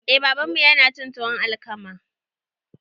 Eh babanmu yanacin tuwon alkama